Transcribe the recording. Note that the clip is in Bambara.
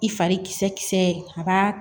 I fari kisɛ kisɛ a b'a